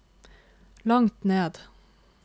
langt ned